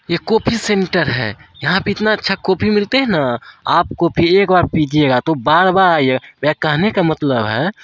ये coffee centre है। यहां पे इतना अच्छा कॉफी मिलते हैं ना आप कॉफी एक बार पिजिऐगा तो बार बार आइऐगा। मेरा कहने का मतलब है--